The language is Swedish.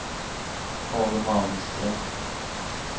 Tage Malmström